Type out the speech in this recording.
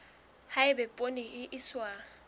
ha eba poone e iswa